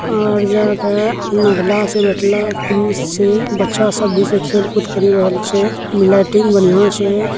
और यहाँ पे महिला छै बैठला पुरुष छै बच्चा सब छै खेल कूद करि रहल छै लाइटिंग बढ़िया छै।